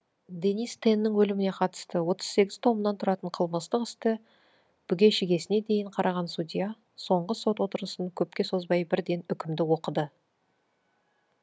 денис теннің өліміне қатысты отыз сегіз томнан тұратын қылмыстық істі бүге шігесіне дейін қараған судья соңғы сот отырысын көпке созбай бірден үкімді оқыды